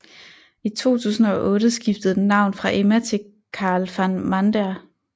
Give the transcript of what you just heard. I 2008 skiftede den navn fra Emma til Karel van Mander